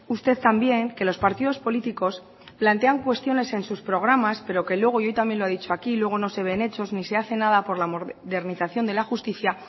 usted también que los partidos políticos plantean cuestiones en sus programas pero que luego yo también lo he dicho aquí luego no se ve en hechos ni se hace nada por la modernización de la justicia